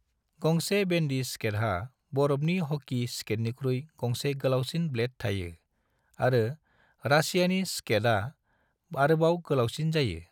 गंसे बेंडी स्केटहा बरफनि हकी स्केटनिख्रुय गंसे गोलावसिन ब्लेड थायो, आरो "रासियानि स्केट" आ आरोबाव गोलावसिन जायो।